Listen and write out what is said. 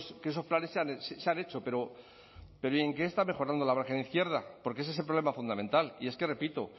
que esos planes se han hecho pero en qué está mejorando la margen izquierda porque ese es el problema fundamental y es que repito